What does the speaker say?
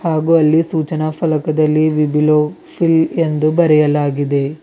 ಹಾಗು ಅಲ್ಲಿ ಸೂಚನಾ ಫಲಕದಲ್ಲಿ ಬಿಬಿಲೋ ಫಿಲ್ ಎಂದು ಬರೆಯಲಾಗಿದೆ.